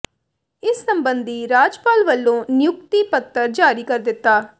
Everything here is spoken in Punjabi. ਇਸ ਸਬੰਧੀ ਰਾਜਪਾਲ ਵੱਲੋਂ ਨਿਯੁਕਤੀ ਪੱਤਰ ਜਾਰੀ ਕਰ ਦਿੱਤਾ